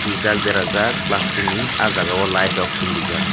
rijak berajak plastic ni ahjagao light rok chungrijak.